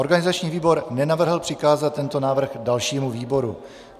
Organizační výbor nenavrhl přikázat tento návrh dalšímu výboru.